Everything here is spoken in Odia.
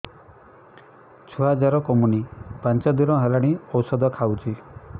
ଛୁଆ ଜର କମୁନି ପାଞ୍ଚ ଦିନ ହେଲାଣି ଔଷଧ ଖାଉଛି